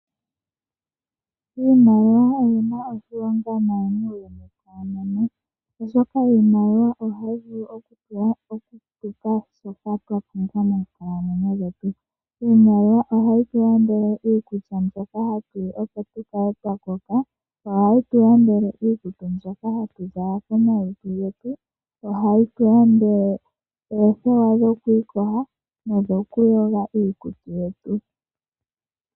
Iimaliwa oyi na oshilonga muuyuni auhe koonono, oshoka iimaliwa ohayi vulu okulongithwa okulanda shoka twa pumbwa moonkalamwenyo dhetu. Iimaliwa ohatu yi longitha okulanda iikulya mbyoka twa pumbwa, opo tu kale twa koka. Ohayi tu landele iikutu mbyoka hatu zala komalutu getu. Ohayi tu landele oothewa dhoku iyoga nokuyoga iikutu yetu.